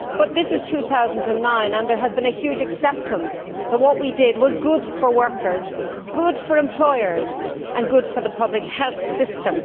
But this is 2009, and there has been a huge acceptance that what we did was good for workers, good for employers and good for the public health system.